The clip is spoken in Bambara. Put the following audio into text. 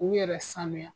K'u yɛrɛ sanuya